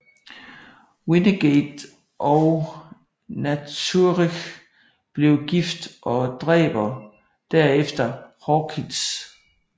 Wynnegate og Naturich bliver gift og dræber derefter Hawkins